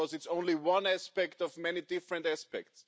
Because it is only one aspect of many different aspects.